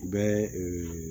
U bɛ